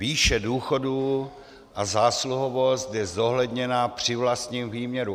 Výše důchodů a zásluhovost je zohledněna při vlastním výměru.